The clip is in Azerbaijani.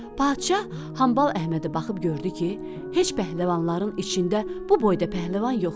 Padşah Hambal Əhmədi baxıb gördü ki, heç pəhləvanların içində bu boyda pəhləvan yoxdur.